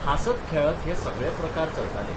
हांसत खेळत हे सगळे प्रकार चलताले.